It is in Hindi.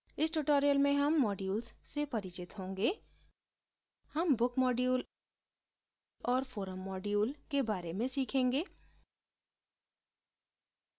इस tutorial में हम modules से परिचित होंगे हम book module और forum module के बारे में सीखेंगे